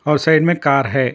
और साइड में कार है।